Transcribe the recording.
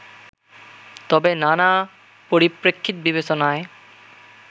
তবে নানা পরিপ্রেক্ষিত বিবেচনায়